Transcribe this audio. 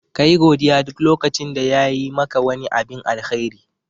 Kayi godiya duk lokacin da yayi maka wani abin alkhairi.